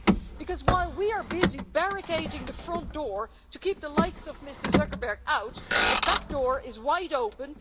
Because while we are busy barricading the front door to keep the likes of Mr Zuckerberg out, the back door is wide open.